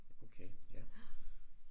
Okay ja